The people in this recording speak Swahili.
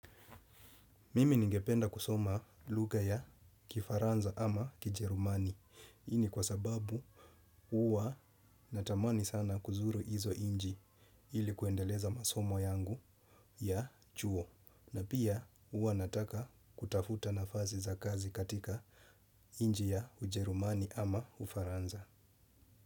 Mimi ningependa kusoma lugha ya kifaranza ama kijerumani hi ni kwa sababu uwa natamani sana kuzuru izo inchi ili kuendeleza masomo yangu ya chuo na pia huwa nataka kutafuta nafasi za kazi katika ichi ya ujerumani ama ufaranza.